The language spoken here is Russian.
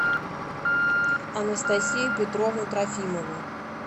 анастасию петровну трофимову